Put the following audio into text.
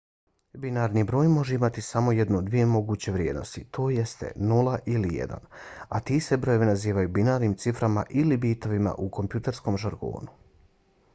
binarni broj može imati samo jednu od dvije moguće vrijednosti tj. 0 ili 1 a ti se brojevi nazivaju binarnim ciframa ili bitovima u kompjuterskom žargonu